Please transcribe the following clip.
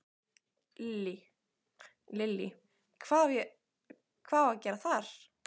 Lillý: Hvað á að gera þar?